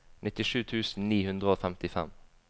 nittisju tusen ni hundre og femtifem